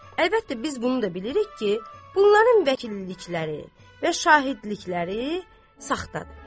Əlbəttə, biz bunu da bilirik ki, bunların vəkillikləri və şahidlikləri saxtadır.